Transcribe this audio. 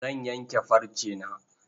Zan yanke farcena.